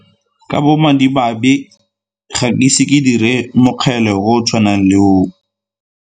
Ka bomadimabe ga ke ise ke dire mokgele o o tshwanang le oo.